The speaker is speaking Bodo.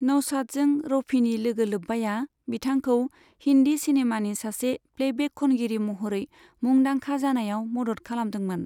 नौशादजों रफीनि लोगोलोब्बाया बिथांखौ हिंदी सिनेमानि सासे प्लेबेक खनगिरि महरै मुंदांखा जानायाव मदद खालामदोंमोन।